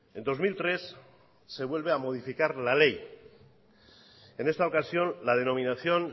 en dos mil tres se vuelve a modificar la ley en esta ocasión la denominación